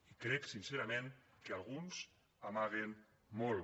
i crec sincerament que alguns amaguen molt